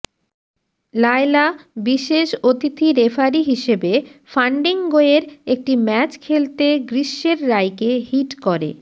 লায়লা বিশেষ অতিথি রেফারি হিসেবে ফান্ডিংগোয়ের একটি ম্যাচ খেলতে গ্রীষ্মের রায়কে হিট করে